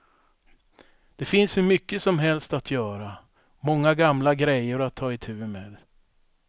Det finns hur mycket som helst att göra, många gamla grejor att ta itu med.